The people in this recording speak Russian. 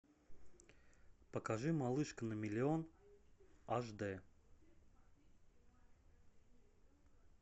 покажи малышка на миллион аш д